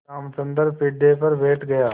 रामचंद्र पीढ़े पर बैठ गया